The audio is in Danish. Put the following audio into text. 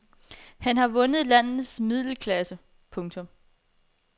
Han har vundet landets middelklasse. punktum